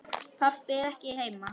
Pabbi er ekki heima.